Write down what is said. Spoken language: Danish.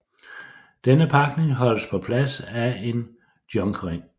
Denne pakning holdes på plads af en junkring